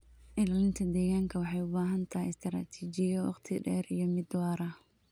Ilaalinta deegaanka waxay u baahan tahay istaraatiijiyo waqti dheer iyo mid waara.